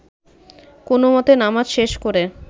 কোনোমতে নামাজ শেষ করে